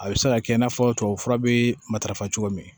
A bɛ se ka kɛ i n'a fɔ tubabufura bɛ matarafa cogo min